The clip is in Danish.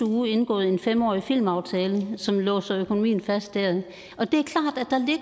uge indgået en fem årig filmaftale som låser økonomien fast der og det